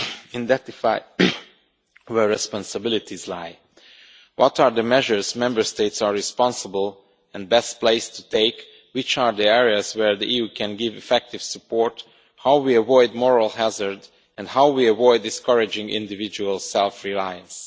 identify where responsibilities lie, what are the measures Member States are responsible for and best placed to take, which are the areas where the EU can give effective support, how we avoid moral hazard, and how we avoid discouraging individual self reliance.